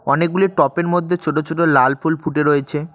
অনেকগুলি টপের -এর মধ্যে ছোট ছোট লাল ফুল ফুটে রয়েছে।